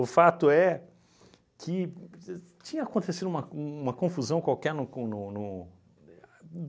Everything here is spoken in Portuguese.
O fato é que tinha acontecido uma uma confusão qualquer no con no no